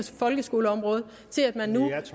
folkeskoleområdet og til at man nu